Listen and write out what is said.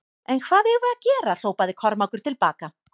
En hvað eigum við að gera hrópaði Kormákur til baka.